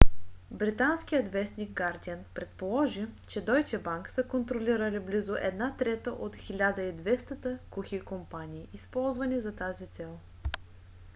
британският вестник гардиън предположи че дойче банк са контролирали близо една трета от 1200-те кухи компании използвани за тази цел